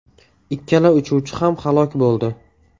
Ikkala uchuvchi ham halok bo‘ldi.